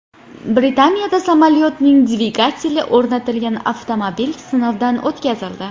Britaniyada samolyotning dvigateli o‘rnatilgan avtomobil sinovdan o‘tkazildi .